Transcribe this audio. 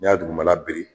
N'i y'a dugumana biri